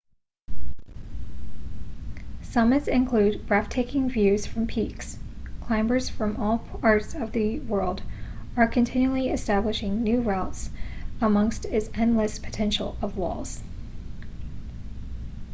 summits include breath-taking views from peaks climbers from all parts of the world are continually establishing new routes amongst its endless potential of walls